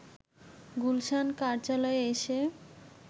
গুলশান কার্যালয়ে এসে